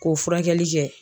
K'o furakɛli kɛ.